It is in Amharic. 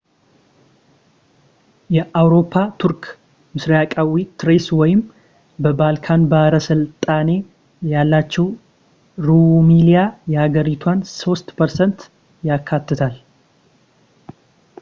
የአውሮፓ ቱርክ ምስራቃዊ ትሬስ ወይም በባልካን ባሕረ ሰላጤ ያለችው ሩሚሊያ የሀገሪቷን 3% ያካትታል